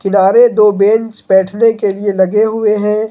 किनारे दो बेंच बैठने के लिए लगे हुए है।